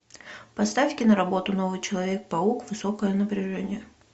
поставь киноработу новый человек паук высокое напряжение